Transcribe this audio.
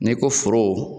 N'i ko foro